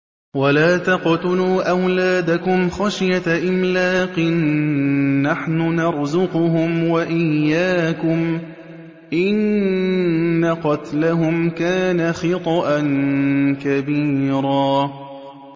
وَلَا تَقْتُلُوا أَوْلَادَكُمْ خَشْيَةَ إِمْلَاقٍ ۖ نَّحْنُ نَرْزُقُهُمْ وَإِيَّاكُمْ ۚ إِنَّ قَتْلَهُمْ كَانَ خِطْئًا كَبِيرًا